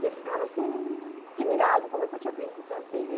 E ele ficava assim, admirado com o que eu tinha aprendido em francês.